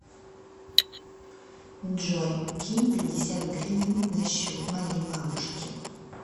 джой кинь пятьдесят гривен на счет моей бабушки